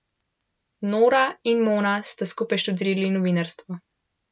Nora in Mona sta skupaj študirali novinarstvo.